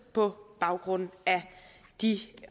på baggrund af de